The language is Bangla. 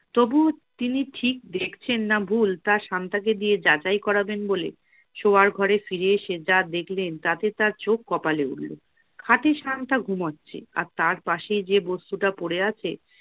তবু তিনি ঠিক দেখছেন না ভুল তা শান্তাকে দিয়ে যাচাই করাবেন বলে, শোয়ার ঘরে ফিরে এসে যা দেখলেন তাতে তার চোখ কপালে উঠল। খাটে শান্তা ঘুমাচ্ছে, আর তার পাশেই যে বস্তুটা পড়ে আছে